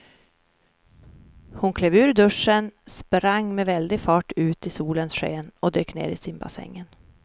Hon klev ur duschen, sprang med väldig fart ut i solens sken och dök ner i simbassängen.